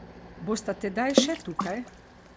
Bosta tedaj še tukaj?